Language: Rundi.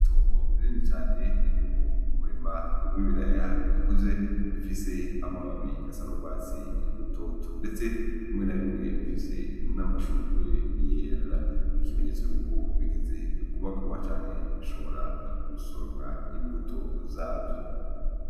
Itongo rinini cane ririmwo umurima w'ibiraya bikuze bifise amababi asa n'ugwatsi rutoto. Ndetse, bimwe na bimwe bifise n'amashugwe yera. Nk'ikimenyetso cuko bigeze kubagagwa canke gusoromwa imbuto zavyo